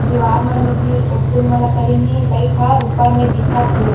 दीवार मन में भी ओ फूल मन ल करीन हे लाइट ह ऊपर में दिखत हे।